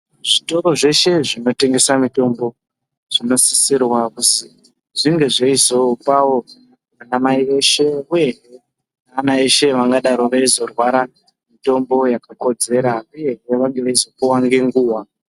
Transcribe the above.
Zvitoro zveshe zvinotengesa mitombo zvinosisirwa kuzi zvinge zveizopawo ana mai eshe uye vana eshe vangadaro veizorwara, mitombo yakakodzera uyehe vange veizopuwa ngenguwa.